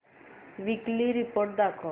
weekly report दाखव